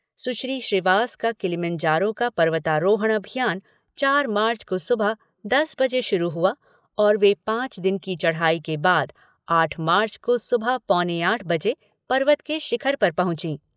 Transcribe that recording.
सुश्री श्रीवास का किलिमंजारो का पर्वतारोहण अभियान चार मार्च को सुबह दस बजे शुरू हुआ और वे पांच दिन की चढ़ाई के बाद आठ मार्च को सुबह पौने आठ बजे पर्वत के शिखर पर पहुंची।